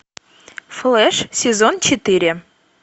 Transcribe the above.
флэш сезон четыре